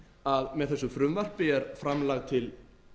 að með þessu frumvarpi er framlag til